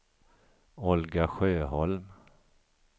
Olga Sjöholm